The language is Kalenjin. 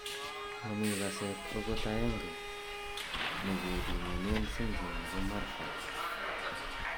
Momii kaseet okot aenge nekebimonen syndrom nebo marfan